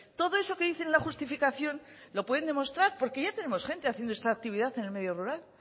todo eso que dice en la justificación lo pueden demostrar porque ya tenemos gente haciendo esta actividad en el medio rural